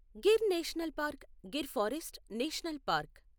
Gir national park Gir forest national park